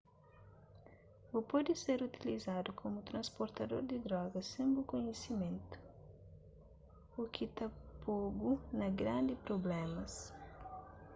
bu pode ser utilizadu komu transportador di drogas sen bu kunhisimentu u ki ta po-bu na grandi prublémas